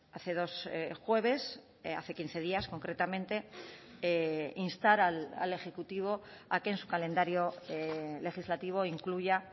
hace dos jueves hace quince días concretamente instar al ejecutivo a que en su calendario legislativo incluya